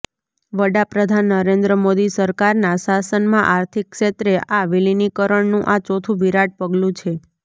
વડા પ્રધાન નરેન્દ્ર મોદી સરકારના શાસનમાં આર્થિક ક્ષેત્રે આ વિલીનીકરણનું આ ચોથું વિરાટ પગલું છે